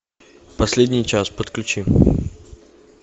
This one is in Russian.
последний час подключи